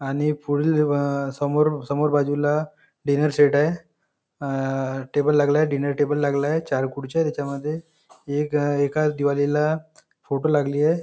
आणि पुढील लीव अ समोर समोर बाजूला डिनर सेट आहे अ टेबलं लागलाय डिनर टेबलं लागलाय चार खुर्च्या आहेत त्याच्यामध्ये एक एकच दिवालीला फोटो लागलीय.